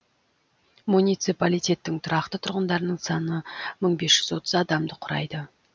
муниципалитеттің тұрақты тұрғындарының саны мың бес жүз отыз адамды құрайды